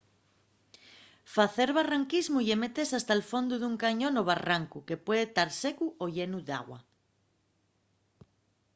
facer barranquismu ye metese hasta’l fondu d’un cañón o barrancu que puede tar secu o llenu d’agua